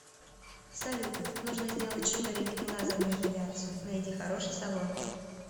салют нужно сделать шугаринг и лазерную эпиляцию найди хороший салон